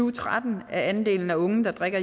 og tretten er andelen af unge der drikker